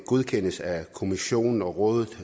godkendes af kommissionen og rådet